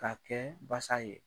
Ka kɛ basa ye.